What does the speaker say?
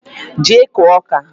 Jee kụọ ọka!